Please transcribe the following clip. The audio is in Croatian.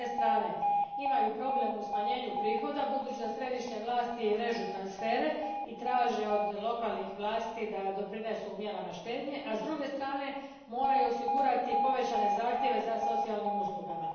S jedne strane imaju problem u smanjenju prihoda budući da središnje vlasti režu transfere i traže od lokalnih vlasti da doprinesu mjerama štednje, a s druge strane moraju osigurati povećane zahtjeve za socijalnim uslugama.